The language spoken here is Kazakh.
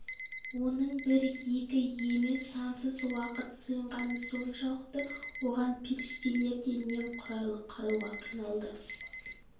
оның бір екі емес сансыз уақыт сиынғаны соншалықты оған періштелер де немқұрайлы қарауға қиналды